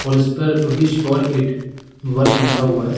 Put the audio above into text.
और इस पर विश फॉर इट वर्क लिखा हुआ है।